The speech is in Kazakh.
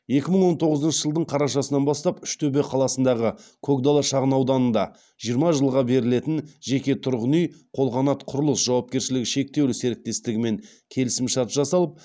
екі мың он тоғызыншы жылдың қарашасынан бастап үштөбе қаласындағы көкдала шағын ауданында жиырма жылға берілетін жеке тұрғын үй қолқанат құрылыс жауапкершілігі шектеулі серіктестігімен келісімшарт жасау